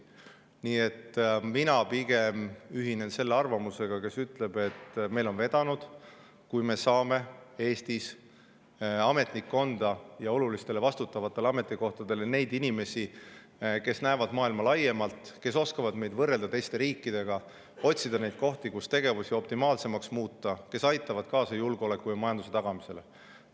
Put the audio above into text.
Nii et mina pigem ühinen selle arvamusega, et meil on vedanud, kui me saame Eestis ametnikkonda ja olulistele vastutavatele ametikohtadele inimesi, kes näevad maailma laiemalt, kes oskavad meid võrrelda teiste riikidega, otsida kohti, kus tegevusi optimaalsemaks muuta, kes aitavad kaasa julgeoleku ja majandus tagamisele.